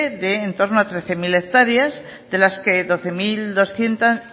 de en torno a trece mil hectáreas de las que doce mil doscientos